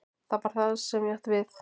Það var það sem ég átti við.